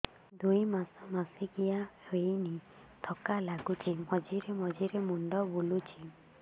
ଦୁଇ ମାସ ମାସିକିଆ ହେଇନି ଥକା ଲାଗୁଚି ମଝିରେ ମଝିରେ ମୁଣ୍ଡ ବୁଲୁଛି